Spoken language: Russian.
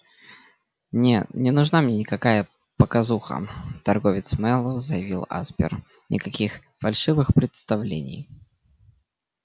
не не нужна мне никакая показуха торговец мэллоу заявил аспер никаких фальшивых представлений